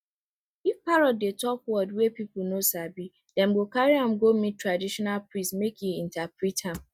if parrot dey talk word wey people no sabi dem go carry am go meet traditional priest make e interpret am